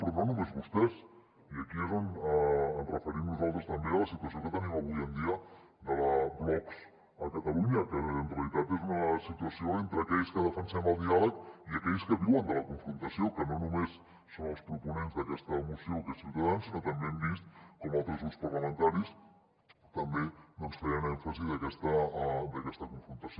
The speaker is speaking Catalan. però no només vostès i aquí és on ens referim nosaltres també a la situació que tenim avui en dia de blocs a catalunya que en realitat és una situació entre aquells que defensem el diàleg i aquells que viuen de la confrontació que no només són els proponents d’aquesta moció que és ciutadans sinó que també hem vist com altres grups parlamentaris també doncs feien èmfasi d’aquesta confrontació